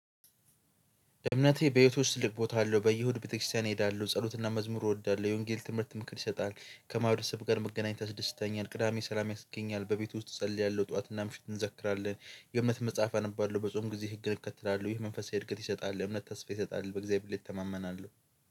እምነቴ በየቶች ለብ ውስጥ ልቅቦታለሁ በየሁድ ቤተክርስቲያን እሄዳለሁ ጸሎትና መዝሙሩ እወዳለሁ የወንጌል ትምህርት ምክር ይሰጣል ከማህረሰብ ጋር መገናኘት አስደስተኛል። ቅዳሜ ሰላም ያስገኛል በቤቱ ውስጥ እጸልያለሁ ጠዋትና ምሽት እንዘክራለን። የእምነት መጽሐፍ አነባለሁ። በጾም ጊዜ ህግ እከተላለሁ። ይህ መንፈሳዊ እድገት ይሰጣል። እምነት ተስፋ ይሰጣል በእግዚአብሔር ይተማመናሉ።